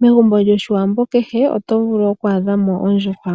Megumbo lyOshiwambo kehe oto vulu okwa adha mo ondjuhwa.